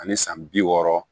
Ani san bi wɔɔrɔ